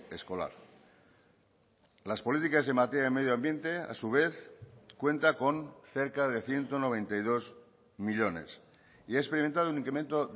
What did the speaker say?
escolar las políticas en materia de medio ambiente a su vez cuenta con cerca de ciento noventa y dos millónes y ha experimentado un incremento